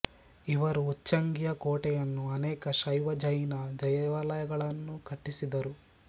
ಇವರು ಉಚ್ಚಂಗಿಯ ಕೋಟೆಯನ್ನೂ ಅನೇಕ ಶೈವ ಜೈನ ದೇವಾಲಯಗಳನ್ನೂ ಕಟ್ಟಿಸಿದರು